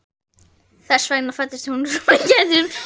Þess vegna fæddist þú svo að við gætum báðar lifað.